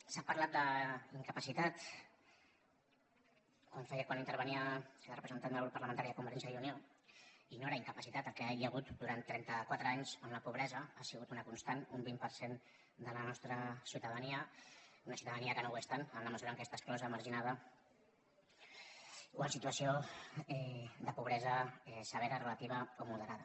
s’ha parlat d’incapacitat ho feia quan intervenia la representant del grup parlamentari de convergència i unió i no era incapacitat el que hi ha hagut durant trenta quatre anys on la pobresa ha sigut una constant un vint per cent de la nostra ciutadania una ciutadania que no ho és tant en la mesura que està exclosa marginada o en situació de pobresa severa relativa o moderada